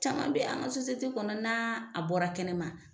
Caman be an ka sosiyete kɔnɔ n'a a bɔra kɛnɛ ma